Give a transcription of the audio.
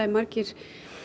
margir